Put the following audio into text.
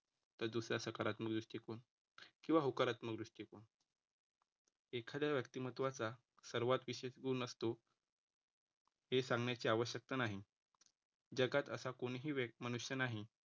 तर दुसरा सकारात्म दृष्टिकोन किंवा होकारात्मक दृष्टिकोन. एखाद्या व्यक्तिमत्त्वाचा सर्वात विशेष गुण असतो. हे सांगण्याची आवश्यकता नाही जगात असा कोणीही मनुष्य नाही